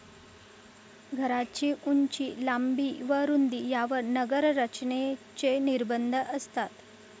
घरांची उंची, लांबी व रुंदी यांवर नगररचनेचे निर्बंध असतात.